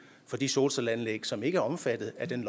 for de solcelleanlæg som ikke er omfattet af den